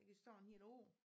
Det kan stå en hel år